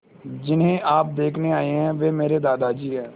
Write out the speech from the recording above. जिन्हें आप देखने आए हैं वे मेरे दादाजी हैं